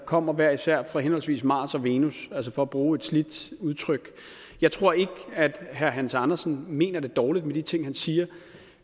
kommer hver især fra henholdsvis mars og venus for at bruge et slidt udtryk jeg tror ikke at herre hans andersen mener det dårligt med de ting han siger